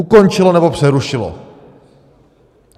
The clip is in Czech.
Ukončilo nebo přerušilo.